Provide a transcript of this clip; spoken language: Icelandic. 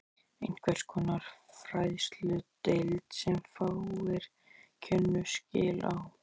Einhvers konar fræðsludeild, sem fáir kynnu skil á.